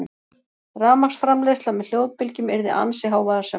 Rafmagnsframleiðsla með hljóðbylgjum yrði ansi hávaðasöm.